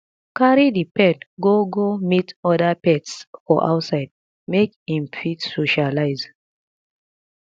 carry di pet go go meet oda pets for outside make im fit socialize